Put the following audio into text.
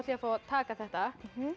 að fá að taka þetta